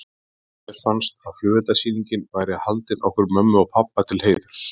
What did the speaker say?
Mér fannst að flugeldasýningin væri haldin okkur mömmu og pabba til heiðurs.